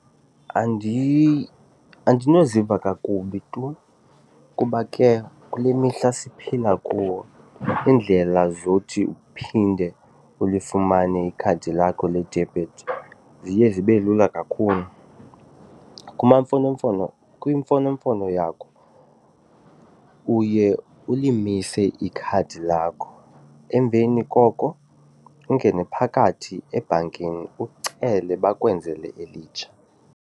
Andinoziva kakubi tu kuba ke kule mihla siphila kuwo iindlela zothi uphinde ulifumane ikhadi lakho ledebhithi ziye zibe lula kakhulu. Kwimfonomfono yakho uye ulimise ikhadi lakho emveni koko ungene phakathi ebhankini ucele bakwenzele elitsha.